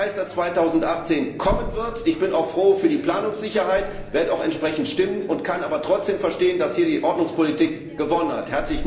Ich weiß, dass 2018 kommen wird. Ich bin auch froh über die Planungssicherheit und werde auch entsprechend stimmen, kann aber trotzdem verstehen, dass hier die Ordnungspolitik gewonnen hat.